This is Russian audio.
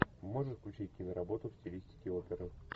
можешь включить киноработу в стилистике оперы